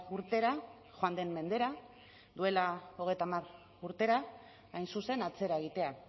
urtera joan den mendera duela hogeita hamar urtera hain zuzen atzera egitea